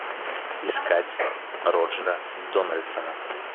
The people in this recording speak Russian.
искать роджера дональдсона